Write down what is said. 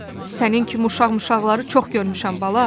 Sənin kimi uşaq-muşaqları çox görmüşəm bala.